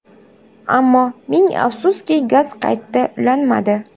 Ammo ming afsuski gaz qayta ulanmadi.